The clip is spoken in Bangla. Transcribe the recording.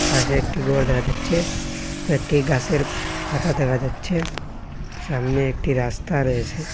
পাশে একটি গর দেখা যাচ্ছে কয়েকটি গাসের পাতা দেখা যাচ্ছে সামনে একটি রাস্তা রয়েছে।